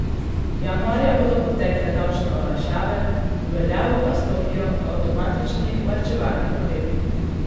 Januarja bodo potekle davčne olajšave, v veljavo pa stopijo avtomatični varčevalni ukrepi.